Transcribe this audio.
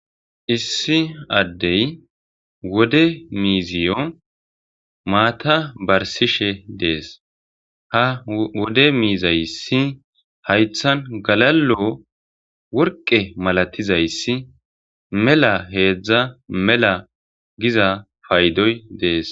issi addey wode miiziyo maata barsishe dees ha wode miizayssi haythan galalo worqe malatizayssi mela heedzdza mela giza paydoy dees